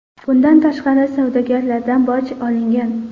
Bundan tashqari, savdogarlardan boj olingan.